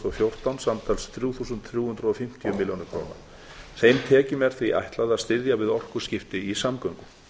og fjórtán samtals þrjú þúsund þrjú hundruð og fimmtíu milljónir króna þeim tekjum er því ætlað að styðja við orkuskipti í samgöngum